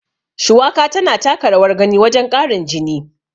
Shuwaka tana taka rawar gani wajen ƙarin jini.